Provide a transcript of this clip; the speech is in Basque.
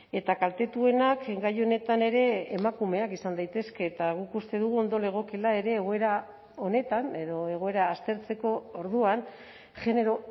eta kaltetuenak gai honetan ere emakumeak izan daitezke eta guk uste dugu ondo legokeela ere egoera honetan edo egoera aztertzeko orduan genero